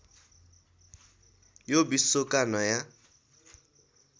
यो विश्वका नयाँ